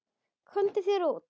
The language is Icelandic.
Komdu þér út.